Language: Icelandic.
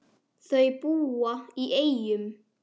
Þau búa í Eyjum.